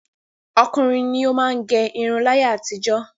Ọkùnrin ni ó má ń gẹ irun láyé àtijọ́.